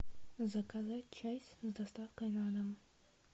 заказать чай с доставкой на дом